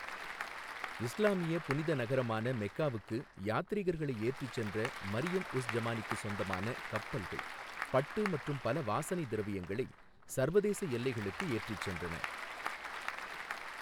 இஸ்லாமிய புனித நகரமான மெக்காவுக்கு யாத்ரீகர்களை ஏற்றிச் சென்ற மரியம் உஸ் ஜமானிக்குச் சொந்தமான கப்பல்கள் பட்டு மற்றும் பல வாசனை திரவியங்களை சர்வதேச எல்லைகளுக்கு ஏற்றிச் சென்றன.